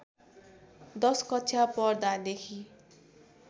१० कक्षा पढ्दादेखि